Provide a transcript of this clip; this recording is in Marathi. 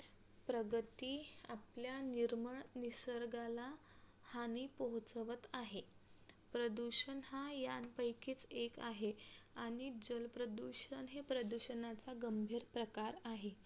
प्रगती आपल्या निर्मल निसर्गाला हानी पोहोचवत आहे प्रदूषण हा यांपैकी एक आहे आणि जलप्रदूषण हे प्रदूषणाचा गंभीर प्रकार आहे